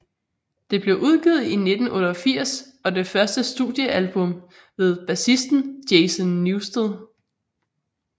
Det blev udgivet i 1988 og det første studiealbum med bassisten Jason Newsted